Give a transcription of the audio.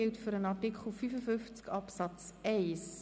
Wir kommen zu Artikel 55 Absatz 1.